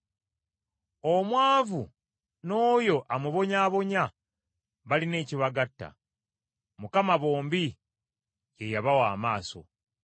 Omwavu n’oyo amubonyaabonya balina ekibagatta: Mukama bombi ye yabawa amaaso.